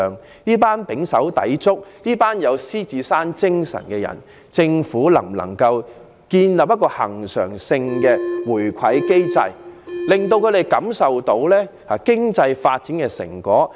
政府能否為這群胼手胝足、富有獅子山精神的市民建立恆常回饋機制，令他們感受到經濟發展的成果？